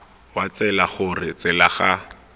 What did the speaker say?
wa tsela gore tsela ga